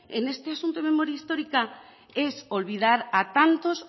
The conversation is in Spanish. en este asunto de memoria histórica es olvidar a tantos